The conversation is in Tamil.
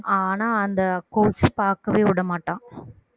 ஆனா அந்த coach பாக்கவே விட மாட்டான்